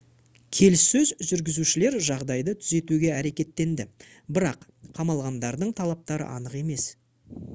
келіссөз жүргізушілер жағдайды түзетуге әрекеттенді бірақ қамалғандардың талаптары анық емес